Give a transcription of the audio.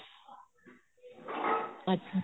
ਅੱਛਾ